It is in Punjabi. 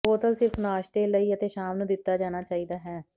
ਬੋਤਲ ਸਿਰਫ ਨਾਸ਼ਤੇ ਲਈ ਅਤੇ ਸ਼ਾਮ ਨੂੰ ਦਿੱਤਾ ਜਾਣਾ ਚਾਹੀਦਾ ਹੈ